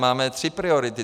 Máme tři priority.